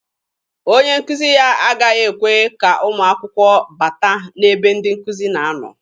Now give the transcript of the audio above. Onye nkuzi ya agaghị ekwe ka ụmụ akwụkwọ bata n'ebe ndị nkụzi na-anọ.